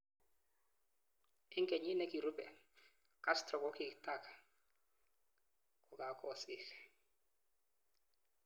Ik kenyit nikirube, Castro gokitak gokagosik.